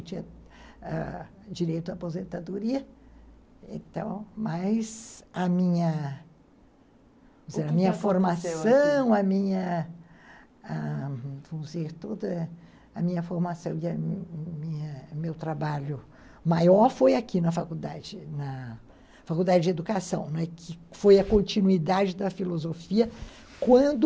Eu tinha ãh direito à aposentadoria, então, mas a minha a minha formação, a minha a formação e o meu trabalho maior foi aqui na faculdade, na faculdade de educação, que foi a continuidade da filosofia, quando